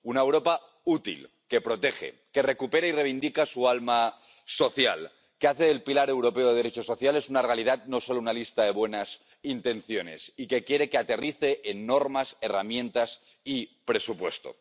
Una Europa útil que protege, que recupera y reivindica su alma social, que hace del pilar europeo de derechos sociales una realidad, no solo una lista de buenas intenciones, y que quiere que aterrice en normas, herramientas y presupuesto.